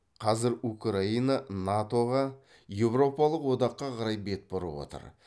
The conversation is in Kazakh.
қазір украина нато ға еуропалық одаққа қарай бет бұрып отыр